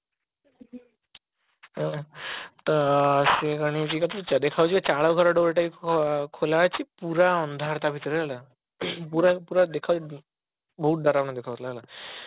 ତ ତ ଚାଳ ଘର door ଟା ଭି ଖୋଲା ଅଛି ପୁରା ଅନ୍ଧାର ତା ଭିତରେ ହେଲା ପୁରା ପୁରା ଦେଖାଯାଉଛି ବହୁତ ଡରାବନା ଦେଖା ଯାଉଥିଲା ହେଲା